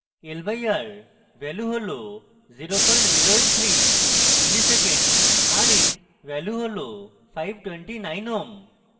l/r value হল = 0083 msec milli second rind value হল = 529 ohm